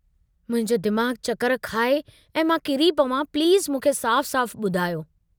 मुंहिंजो दिमाग़ चकर खाए ऐं मां किरी पवां प्लीज़ मूंखे साफ़ साफ़ु बुधायो।